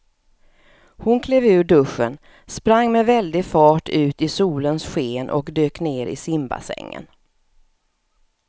Hon klev ur duschen, sprang med väldig fart ut i solens sken och dök ner i simbassängen.